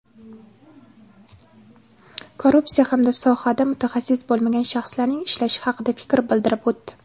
korrupsiya hamda sohada mutaxassis bo‘lmagan shaxslarning ishlashi haqida fikr bildirib o‘tdi.